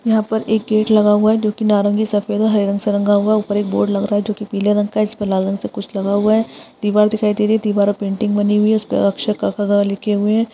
यहाँ पर एक गेट लगा हुआ है जो कि नारंगी सफ़ेद और हरे रंग से रंगा हुआ है। ऊपर एक बोर्ड लग रहा है जो कि पीले रंग का उसपे लाल रंग से कुछ लिखा हुआ है दिवार दिखाई दे रही है दिवार पे पेंटिंग बनी हुई हैउसपे अक्षर क ख ग लिखे हुए हैं।